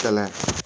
Kɛlɛ